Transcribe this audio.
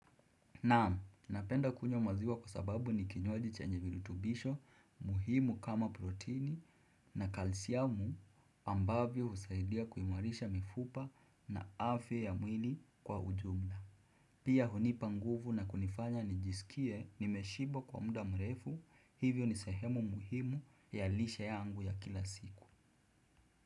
Naam, napenda kunywa maziwa kwa sababu ni kinywaji chenye virutubisho muhimu kama protini na kalsiamu ambavyo husaidia kuimarisha mifupa na afya ya mwili kwa ujumla. Pia hunipa nguvu na kunifanya nijisikie nimeshiba kwa muda mrefu hivyo ni sehemu muhimu ya lishe yangu ya kila siku.